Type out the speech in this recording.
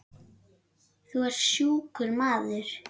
Þú ert sjúkur maður.